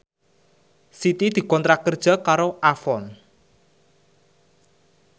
Siti dikontrak kerja karo Avon